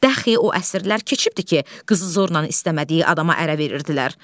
Dəxi o əsrlər keçibdir ki, qızı zorla istəmədiyi adama ərə verirdilər.